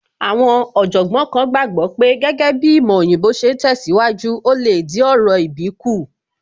Àwọn Ọ̀jọ̀gbọ́n kan gbàgbọ́ pé gẹ́gẹ́ bíi ìmọ̀ òyìnbó ṣe ń tẹ̀síwájú, ò lè dín orò ìbí kù